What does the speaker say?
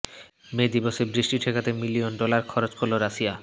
মে দিবসে বৃষ্টি ঠেকাতে মিলিয়ন ডলার খরচ করলো রাশিয়া